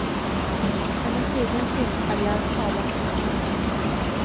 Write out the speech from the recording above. Hennes egen filmkarriär talas det tyst om.